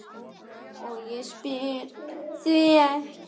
og ég spyr: hví ekki?